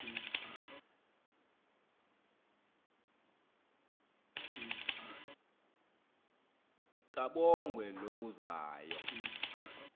kabongwe low uzayo